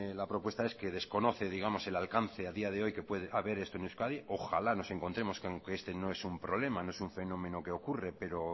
la propuesta es que desconoce el alcance a día de hoy que puede haber esto en euskadi ojalá nos encontremos con que este no es un problema no es un fenómeno que ocurre pero